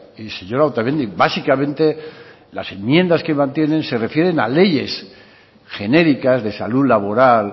y señora otamendi básicamente las enmiendas que mantienen se refieren a leyes genéricas de salud laboral